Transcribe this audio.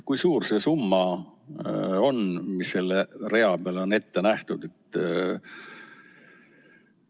Kui suur see summa on, mis selle rea peal on ette nähtud?